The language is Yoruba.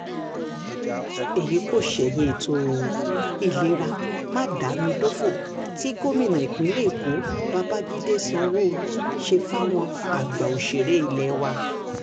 èyí kò ṣẹ̀yìn ètò ìlera má-dà-mí-dòfo tí gómìnà ìpínlẹ̀ èkó babàjídé sanwoluu ṣe fáwọn àgbà òṣèré ilé wa